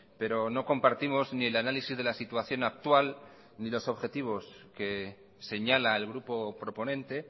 pero no compartimos ni el análisis de la situación actual ni los objetivos que señala el grupo proponente